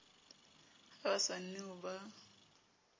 ha ba sa new ba